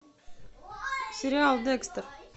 сериал декстер